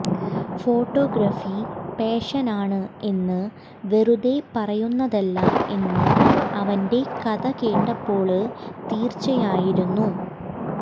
photography പാഷനാണ് എന്ന് വെറുതെ പറയുന്നതല്ല എന്ന് അവന്റെ കഥ കേട്ടപ്പോള് തീര്ച്ചയായിരുന്നു